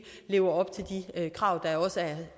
lever op til de krav